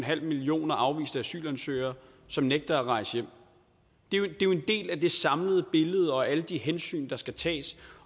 millioner afviste asylansøgere som nægter at rejse hjem det er jo en del af det samlede billede og alle de hensyn der skal tages